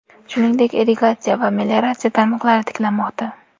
Shuningdek, irrigatsiya va melioratsiya tarmoqlari tiklanmoqda.